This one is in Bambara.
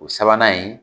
O sabanan in